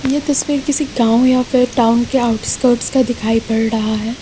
यह तस्वीर किसी गांव या फिर टाउन के आउटस्कीर्ट्स का दिखाई दे रहा है।